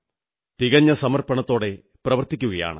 തികഞ്ഞ സമർപ്പണത്തോടെ പ്രവർത്തിക്കയാണ്